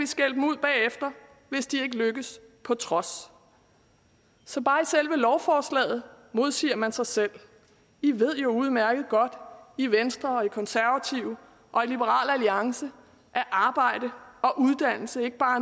skælde dem ud bagefter hvis de ikke lykkes på trods så bare i selve lovforslaget modsiger man sig selv i ved jo udmærket godt i venstre konservative og liberal alliance at arbejde og uddannelse ikke bare